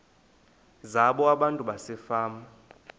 zabo abantu basefama